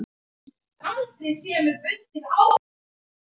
Hættu þessu tauti og farðu að sofa.